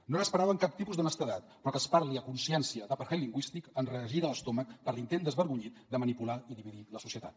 no n’esperàvem cap tipus d’honestedat però que es parli a consciència d’apartheid lingüístic ens regira l’estómac per l’intent desvergonyit de manipular i dividir la societat